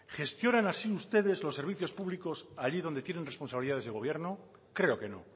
gestionan así ustedes los servicios públicos allí donde tienen responsabilidades de gobierno creo que no